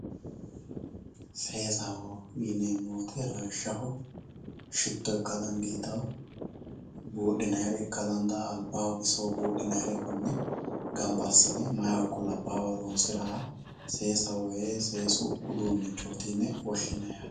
Seesaho yinemo woyite lawishaho shito ika danditawo budhinayire ika dandawo aliba iko bisoho bidhinayire kone ganba asine mahu iko labahu horonsirahasesahoho woyi seesu udunichoti yine woshinayi yate